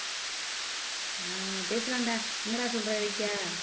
ஆஹ் பேசுலாம்டா என்னடா சொல்ற இலக்கியா